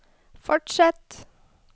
fortsett